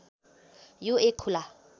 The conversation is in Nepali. यो एक खुला